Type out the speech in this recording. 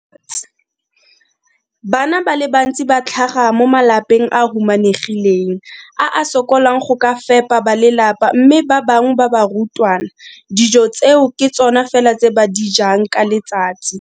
Bana ba le bantsi ba tlhaga mo malapeng a a humanegileng a a sokolang go ka fepa ba lelapa mme ba bangwe ba barutwana, dijo tseo ke tsona fela tse ba di jang ka letsatsi.